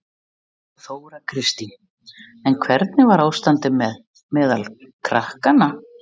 Þóra Kristín: En hvernig var ástandið meðal krakkanna?